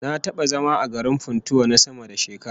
Na taba zama a garin Funtua na sama da shekara